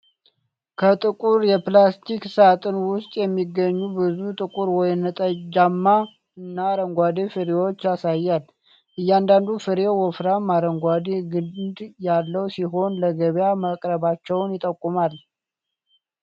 ከጥቁር የፕላስቲክ ሣጥን ውስጥ የሚገኙ ብዙ ጥቁር ወይንጠጃማ እና አረንጓዴ ፍሬዎችን ያሳያል። እያንዳንዱ ፍሬ ወፍራም አረንጓዴ ግንድ ያለው ሲሆን፣ ለገበያ መቅረባቸውን ይጠቁማል።